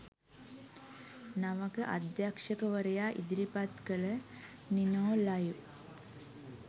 නවක අධ්‍යක්ෂකවරයා ඉදිරිපත් කළ 'නිනෝ ලයිව්'